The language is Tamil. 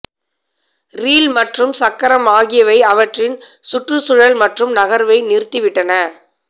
ரீல் மற்றும் சக்கரம் ஆகியவை அவற்றின் சுற்றுச்சூழல் மற்றும் நகர்வை நிறுத்திவிட்டன